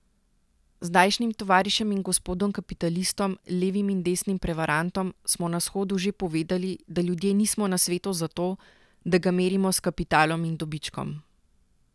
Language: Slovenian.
Zdajšnjim tovarišem in gospodom kapitalistom, levim in desnim prevarantom, smo na shodu že povedali, da ljudje nismo na svetu za to, da ga merimo s kapitalom in dobičkom.